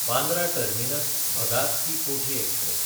बांद्रा टर्मिनस–भगात की कोठी एक्सप्रॅस